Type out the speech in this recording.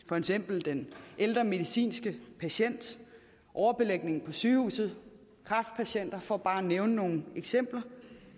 for eksempel den ældre medicinske patient overbelægning på sygehusene kræftpatienter for bare at nævne nogle eksempler